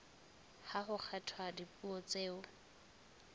ha ho kgethwa dipuo tseo